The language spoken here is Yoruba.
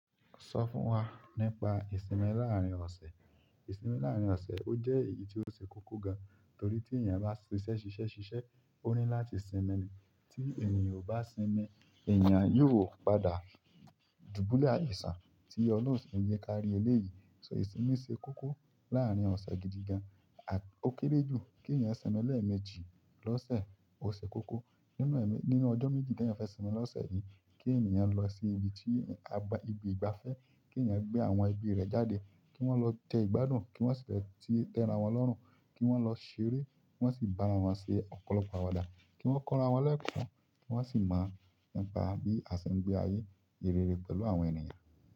Sọ fún wa nípa ìsinmi láàárín ọ̀sẹ̀. Ìsinmi láàárín ọ̀sẹ̀ ó jẹ́ èyí tó ṣe kókó gan torí tí èèyàn bá ṣiṣẹ́ ṣiṣẹ́ ṣiṣẹ́, ó ní láti sinmi. Tí ènìyàn ò bá sinmi, èèyàn yóò padà dùbúlẹ̀ àìsàn tí ọlọhun o si nj jẹ kí á rí eléyìí. So ìsinmi ṣe kókó láàárín ọ̀sẹ̀ gidi gan, a-- ó kéré jù kí èèyàn sinmi lẹ́ẹ̀mejì lọ́sẹ̀, ó ṣe kókó. Nínú ẹ̀mẹ-- nínú ọjọ́ méjì tí èèyàn fẹ́ sinmi lọ́sẹ̀ yìí kí èèyàn lọ sí ibi tí a gba-- ibi ìgbafẹ́, kí èèyàn gbé àwọn ẹbí rẹ̀ jáde, kí wọ́n lọ jẹ ìgbádùn, kí wọ́n sì fẹ́ tẹ́ra wọn lọ́rùn, kí wọ́n lọ ṣeré, kí wọ́n sì bá ara wọn ṣe ọ̀pọ̀lọpọ̀ àwàdà, kí wọ́n kọ́ra wọn lẹkọ, kí wọ́n sì mọ ńipa bí a ṣe ń gbé ayé rere pẹ̀lú àwọn ènìyàn.